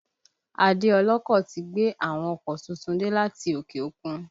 Adé ọlọ́kọ̀ ti gbé àwọn ọkọ̀ tuntun dé láti òkè òkun